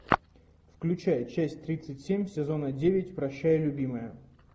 включай часть тридцать семь сезона девять прощай любимая